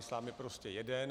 Islám je prostě jeden.